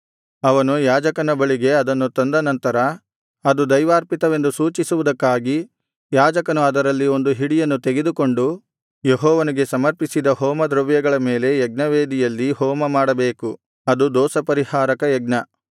ಅವನು ಯಾಜಕನ ಬಳಿಗೆ ಅದನ್ನು ತಂದನಂತರ ಅದು ದೈವಾರ್ಪಿತವೆಂದು ಸೂಚಿಸುವುದಕ್ಕಾಗಿ ಯಾಜಕನು ಅದರಲ್ಲಿ ಒಂದು ಹಿಡಿಯನ್ನು ತೆಗೆದುಕೊಂಡು ಯೆಹೋವನಿಗೆ ಸಮರ್ಪಿಸಿದ ಹೋಮದ್ರವ್ಯಗಳ ಮೇಲೆ ಯಜ್ಞವೇದಿಯಲ್ಲಿ ಹೋಮಮಾಡಬೇಕು ಅದು ದೋಷಪರಿಹಾರಕ ಯಜ್ಞ